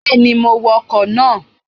Bẹ́ẹ̀ni, mo wọ ọkọ̀ náà